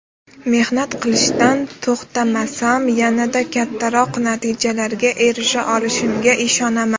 Mehnat qilishdan to‘xtamasam, yanada kattaroq natijalarga erisha olishimga ishonaman.